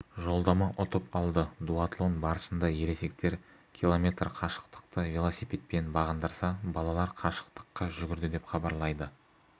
жолдама ұтып алды дуатлон барысында ересектер км қашықтықты велосипедпен бағындырса балалар қашықтыққа жүгірді деп хабарлайды